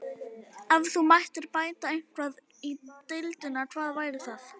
Ef þú mættir bæta eitthvað í deildinni, hvað væri það?